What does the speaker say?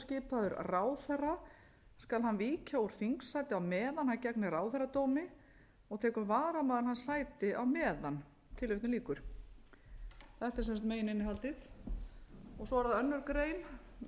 skipaður ráðherra skal hann víkja úr þingsæti á meðan hann gegnir ráðherradómi og tekur varamaður hans sætið á meðan þetta er sem sagt megin innihaldið svo er það önnur grein með leyfi virðulegs forseta hljómar hún svona lög þessi öðlast